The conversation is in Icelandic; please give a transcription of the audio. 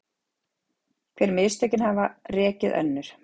Hver mistökin hafa rekið önnur